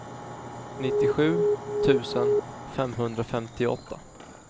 nittiosju tusen femhundrafemtioåtta